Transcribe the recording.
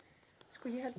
sko ég held